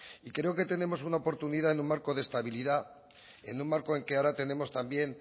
y creo que tenemos una oportunidad en un marco de estabilidad en un marco en que ahora tenemos también